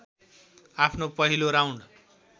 आफ्नो पहिलो राउन्ड